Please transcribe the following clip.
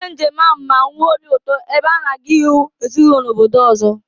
Onye njem ahụ ma nwee obi ụtọ, ebe ha na-aga ịhụ ezinụlọ n’obodo ọzọ